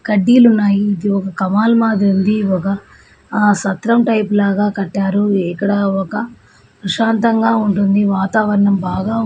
కడ్డీలున్నాయి ఇదొక కబహల్ మాదిరిగా ఉంది ఒక సత్రం లాగా కట్టారు ఇక్కడ ఒక ప్రశాంతంగా ఉంటుంది వాతావరణం బాగా --